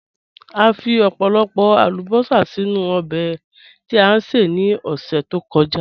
À fí ọ̀pọ̀lọ̀pọ̀ àlùbọ́sà sínu òbè tí a ṣè ní ọṣẹ̀ tó kọ̀já.